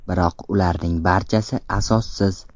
Biroq ularning barchasi asossiz.